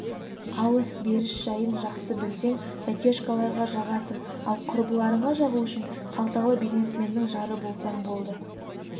алыс-беріс жайын жақсы білсең тәтешкаларға жағасың ал құрбыларыңа жағу үшін қалталы бизнесменнің жары болсаң болды